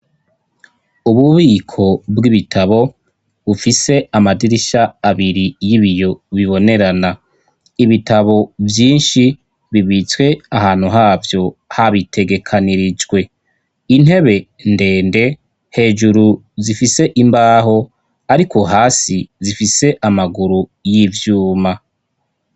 Ububiko bw'ibitabo bufise amadirisha abiri y'ibiyo bibonerana, ibitabo vyinshi bibitswe ahantu havyo habitegekanirijwe, intebe ndende hejuru zifise imbaho ariko hasi zifise amaguru y'ivyuma.